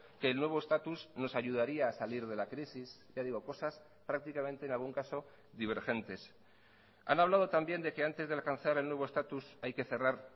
que el nuevo estatus nos ayudaría a salir de la crisis ya digo cosas prácticamente en algún caso divergentes han hablado también de que antes de alcanzar el nuevo estatus hay que cerrar